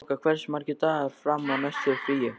Þoka, hversu margir dagar fram að næsta fríi?